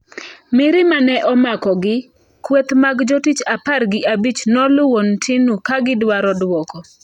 Mirima ne omakogi, kweth mag jotich apar gi abich noluwo Ntinu ka gidwaro dwoko.